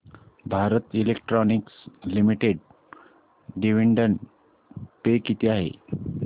Bharat electronics limited dividend पे किती आहे